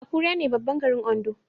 Akure ne babban garin Ondo